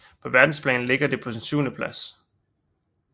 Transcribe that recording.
På verdensplan ligger det på en syvendeplads